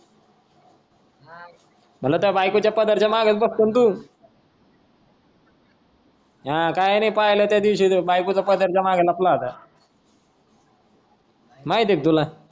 मतल त्या बायको च्या पदरच्या माग बसतो न तू. हा काही नाही पहिल त्या दिवशी बायकोच्या पदर च्या माग लपला होता. माहीत आहे क तुला.